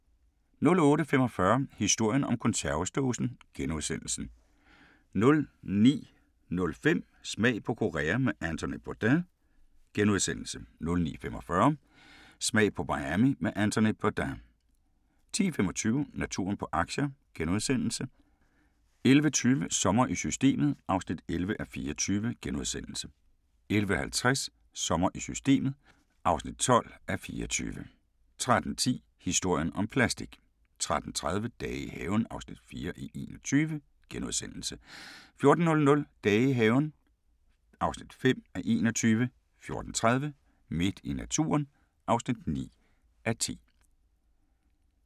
08:45: Historien om konservesdåsen * 09:05: Smag på Korea med Anthony Bourdain * 09:45: Smag på Miami med Anthony Bourdain * 10:25: Naturen på aktier * 11:20: Sommer i Systemet (11:24)* 11:50: Sommer i Systemet (12:24) 13:10: Historien om plastik 13:30: Dage i haven (4:21)* 14:00: Dage i haven (5:21) 14:30: Midt i naturen (9:10)